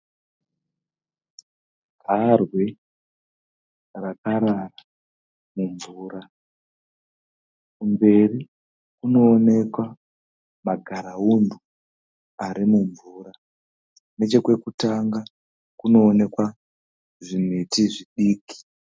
Garwe rakarara mumvura . Kumberi kunooneka magaraundwe ari mumvura. Nechekwekutanga kunooneka zvimiti zvidiki.